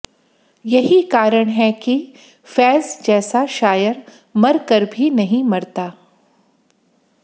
यही कारण है कि फ़ैज़ जैसा शायर मर कर भी नही मरता